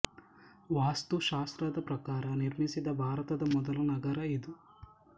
ವಾಸ್ತು ಶಾಸ್ತ್ರದ ಪ್ರಕಾರ ನಿರ್ಮಿಸಿದ ಭಾರತದ ಮೊದಲ ನಗರ ಇದು